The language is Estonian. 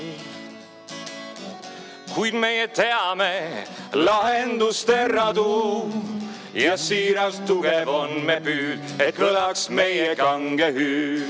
Kuid meie teame lahenduste radu ja siiras, tugev on me püüd, et kõlaks meie kange hüüd.